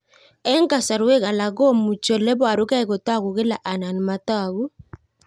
Eng' kasarwek alak komuchi ole parukei kotag'u kila anan matag'u